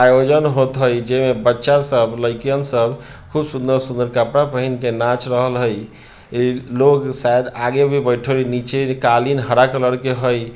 आयोजन होत होइ जेमा बच्चा सब लइकियन सब खूब सुन्दर-सुन्दर कपड़ा पहिन के नाच रहल हई ए लोग शायद आगे भी बैठल हई नीचे कालीन हरा कलर के हई।